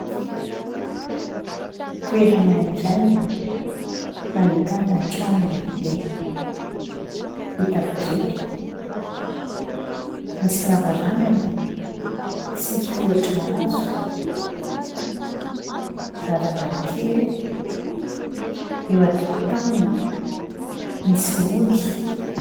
Toerana iray nahitana trano lehibe vita birika nisy lavarangana sy tohatra hazo, varavarakely, eo an-tokotaniny misy omby.